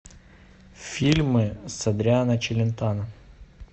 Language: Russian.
фильмы с адриано челентано